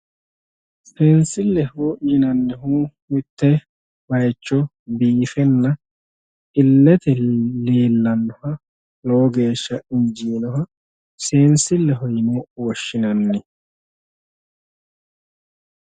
Seensileho yinnannihu mitte bayicho biinfenna ilete leelanoha lowo geeshsha injinoha seensileho yinne woshshinanni